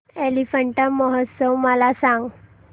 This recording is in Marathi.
एलिफंटा महोत्सव मला सांग